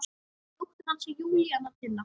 Dóttir hans er Júníana Tinna.